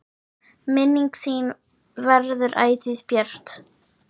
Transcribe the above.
Minning þín verður ætíð björt.